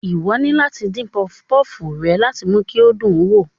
Ìwọ ni láti dín pufupufu rẹ láti mú kí o dùn wo